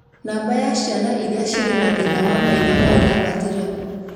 Nũmba ya ciana iria cirĩ na thĩna wa maitho no ĩrambatĩra